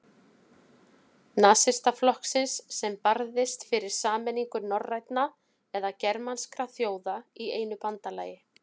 Nasistaflokksins, sem barðist fyrir sameiningu norrænna eða germanskra þjóða í einu bandalagi.